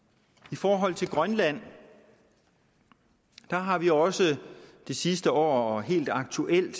i forhold til grønland har vi også det sidste år helt aktuelt